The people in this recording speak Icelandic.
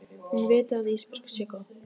Hún viti að Ísbjörg sé góð.